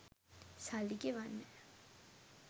සල්ලි ගෙවන්න